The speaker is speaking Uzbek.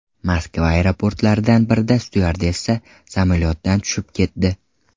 Moskva aeroportlaridan birida styuardessa samolyotdan tushib ketdi.